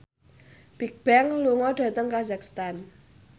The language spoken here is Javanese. Bigbang lunga dhateng kazakhstan